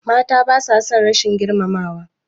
Mata basa son rashin girmamawa.